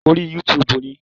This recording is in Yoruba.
Orí Yútúuùbù ni.